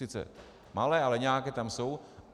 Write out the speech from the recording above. Sice malé, ale nějaké tam jsou.